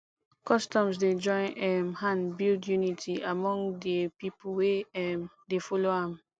customs dey join um hand build unity among de pipo wey um dey follow am